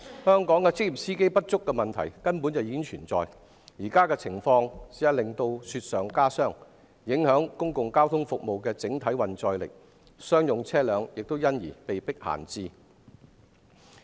香港職業司機不足的問題本已存在，現在的情況更是雪上加霜，公共交通服務的整體運載力受影響，商用車輛被迫閒置。